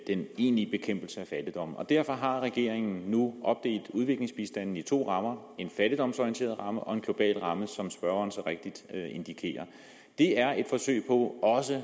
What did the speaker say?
den egentlige bekæmpelse af fattigdommen derfor har regeringen nu opdelt udviklingsbistanden i to rammer en fattigdomsorienteret ramme og en global ramme som spørgeren så rigtigt indikerer det er et forsøg på også